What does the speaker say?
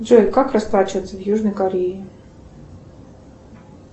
джой как расплачиваться в южной корее